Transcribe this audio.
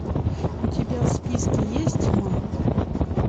у тебя в списке есть тьма